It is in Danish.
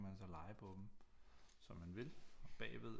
Så lege på dem som man vil og bagved